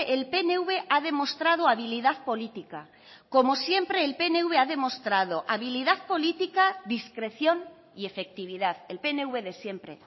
el pnv ha demostrado habilidad política como siempre el pnv ha demostrado habilidad política discreción y efectividad el pnv de siempre